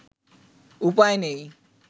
উপায় নেই